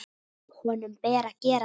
Honum ber að gera það.